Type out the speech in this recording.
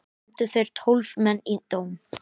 Nefndu þeir tólf menn í dóm.